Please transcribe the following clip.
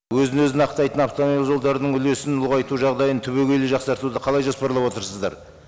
өзін өзін ақтайтын автомобиль жолдарының үлесін ұлғайту жағдайын түбегейлі жақсартуды қалай жоспарлап отырсыздар